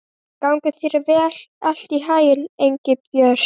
Gangi þér allt í haginn, Engilbjört.